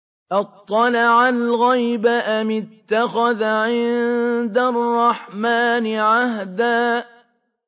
أَطَّلَعَ الْغَيْبَ أَمِ اتَّخَذَ عِندَ الرَّحْمَٰنِ عَهْدًا